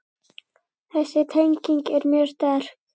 Þessi tenging er mjög sterk.